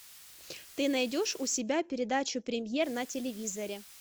ты найдешь у себя передачу премьер на телевизоре